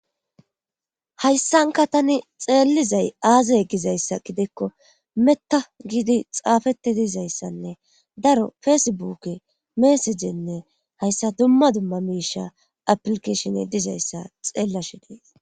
hayssanka tani xeelizay aazay gizayssa gidekko metta giidi xaafeti dizayssanne daro feesebuk meesejenne hayssa dumma dumma miisha aplikeshin dizayssa xeellashe dees